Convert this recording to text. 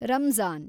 Ramzan